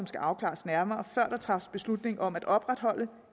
skal afklares nærmere før der træffes beslutning om at opretholde